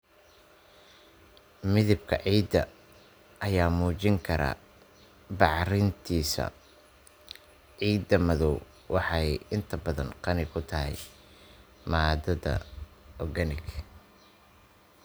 Midabka ciidda ayaa muujin kara bacrintiisa; Ciidda madow waxay inta badan qani ku tahay maadada organic.